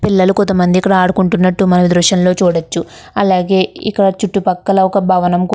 పిల్లలు కొంత మంది ఇక్కడ ఆడుకుంటున్నట్టు మన దృశ్యంలో చూడొచ్చు అలాగే ఇక్కడ చుట్టుపక్కల ఒక భవనం కూ --